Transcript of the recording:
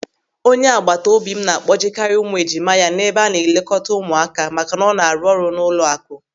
Onye agbataobi m na-akpọjekarị ụmụ ejima ya n'ebe a na-elekọta ụmụaka maka na ọ na-arụ n'ụlọakụ.